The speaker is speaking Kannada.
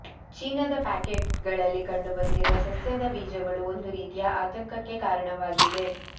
ಚೀನಾದ ಪ್ಯಾಕೇಟ್ ಗಳಲ್ಲಿ ಕಂಡುಬಂದಿರುವ ಸಸ್ಯದ ಬೀಜಗಳು ಒಂದು ರೀತಿಯ ಆತಂಕಕಕ್ಕೆ ಕಾರಣವಾಗಿದೆ